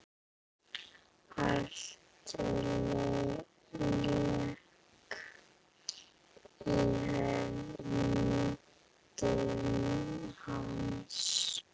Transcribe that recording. Allt lék í höndum hans.